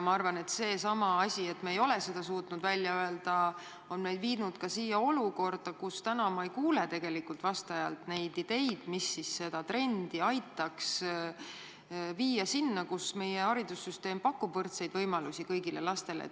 Vahest seesama asi, et me ei ole seda suutnud välja öelda, on meid viinudki olukorda, kus me ei kuule tegelikult vastajalt ideid, mis aitaksid seda trendi arendada selleni, et meie haridussüsteem pakub võrdseid võimalusi kõigile lastele.